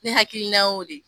Ne hakilinan y'o de ye.